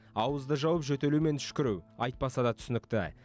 ауызды жауып жөтелу мен түшкіру айтпаса да түсінікті